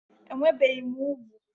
Enwebeghị m úgwù